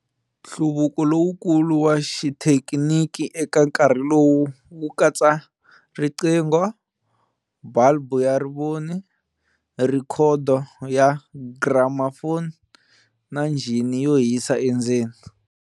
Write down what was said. Nhluvuko lowukulu wa xithekiniki eka nkarhi lowu wu katsa riqingho, bulb ya rivoni, rhekhodo ya gramafoni na njhini yo hisa endzeni.